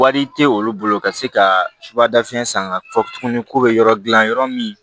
Wari tɛ olu bolo ka se ka subada fiɲɛ san ka fɔ tuguni k'u bɛ yɔrɔ gilan yɔrɔ min